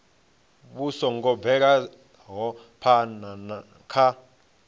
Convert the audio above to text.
vhu songo bvelaho phana kha